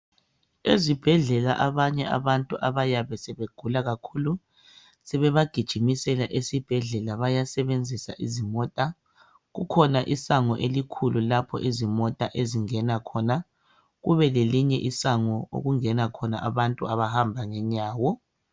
Ezibhedlela abanye abantu abayabr sebegula kakhulu sebebagijimisela esibhedlela bayasebenzisa izimota kukhona isango elikhulu lapho izimota ezingena khona kube khona elinye isango okungena khona abantu abahamba ngenyawo